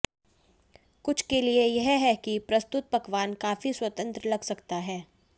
कुछ के लिए यह है कि प्रस्तुत पकवान काफी स्वतंत्र लग सकता है